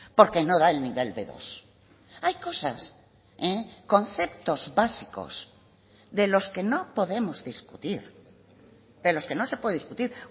porque no da el nivel be dos hay cosas conceptos básicos de los que no podemos discutir de los que no se puede discutir